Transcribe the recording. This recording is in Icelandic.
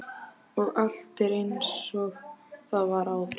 Og allt er einsog það var áður.